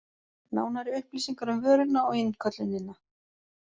Nánari upplýsingar um vöruna og innköllunina